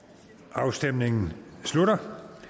afstemningen slutter